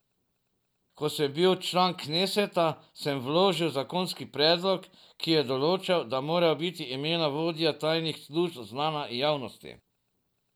Ko sem bil član kneseta, sem vložil zakonski predlog, ki je določal, da morajo biti imena vodij tajnih služb znana javnosti.